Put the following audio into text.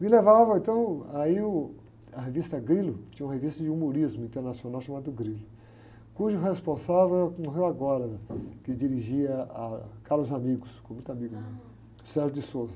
Me levavam, então, aí, uh, a revista Grilo, que tinha uma revista de humorismo internacional chamada do Grilo, cujo responsável era o que morreu agora, que dirigia a, ficou muito amigo meu.